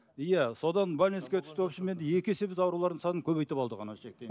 иә содан түсті в общем енді екі есе біз аурулардың санын көбейтіп алдық